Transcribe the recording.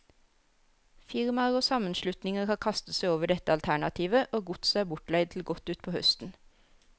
Firmaer og sammenslutninger har kastet seg over dette alternativet, og godset er bortleid til godt utpå høsten.